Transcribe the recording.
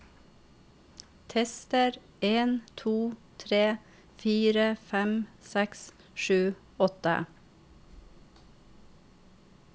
Tester en to tre fire fem seks sju åtte